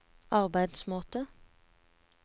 arbeidsmåte